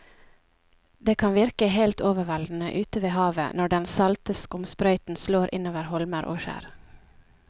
Det kan virke helt overveldende ute ved havet når den salte skumsprøyten slår innover holmer og skjær.